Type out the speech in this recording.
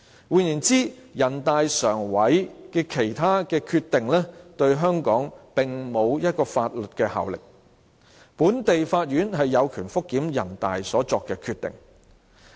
換言之，人大常委會的其他決定對香港並沒有法律效力，本地法院有權覆檢人大常委會所作的決定。